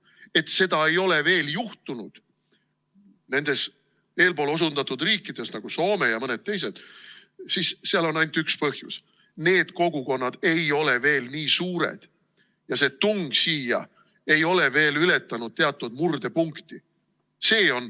Et seda ei ole veel juhtunud nendes eelpool osundatud riikides nagu Soome ja mõned teised, siis seal on ainult üks põhjus: need kogukonnad ei ole veel nii suured ja see tung siia ei ole veel ületanud teatud murdepunkti.